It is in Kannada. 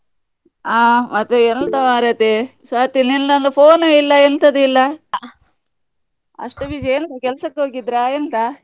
ಹಾ ಮತ್ತೆ ಎಂತ ಮಾರೈತಿ, ಸ್ವಾತಿ ನಿಂದು ಒಂದು phone ನು ಇಲ್ಲ ಎಂತದು ಇಲ್ಲ ಅಷ್ಟು busy ಯಾ ಎಂತ ಕೆಲ್ಸಕ್ಕೆ ಹೋಗಿದ್ರ ಎಂತ?